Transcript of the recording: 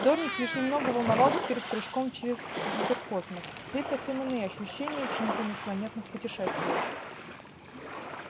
дорник лишь немного волновался перед прыжком через гиперкосмос здесь совсем иные ощущения чем при межпланетных путешествиях